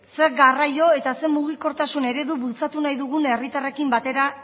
zein garraio eta zein mugikortasun eredu bultzatu nahi dugun herritarrekin batera